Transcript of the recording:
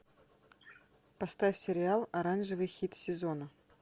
поставь сериал оранжевый хит сезона